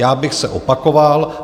Já bych se opakoval.